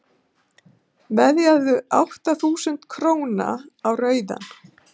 veðjaðu átta þúsund króna á rauðan